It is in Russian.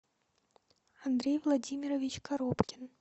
андрей владимирович коробкин